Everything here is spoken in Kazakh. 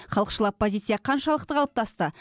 халықшыл оппозиция қаншалықты қалыптасты